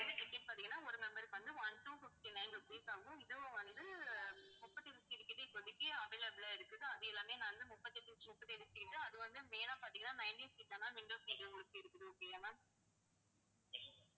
ticket பாத்தீங்கன்னா ஒரு member க்கு வந்து one~ two fifty-nine rupees ஆகும். இதுவும் வந்து முப்பத்தியொரு seat கிட்ட இப்போதைக்கு available ஆ இருக்குது. அது எல்லாமே seat அது வந்து main ஆ பாத்தீங்கன்னா seat தான் ma'amwindow seat உங்களுக்கு இருக்குது. okay யா ma'am